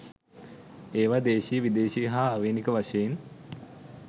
ඒවා දේශීය විදේශීය හා ආවේණික වශයෙන්